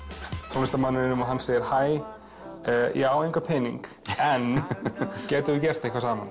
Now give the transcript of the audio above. tónlistarmanninum og hann segir hæ ég á engan pening en gætum við gert eitthvað saman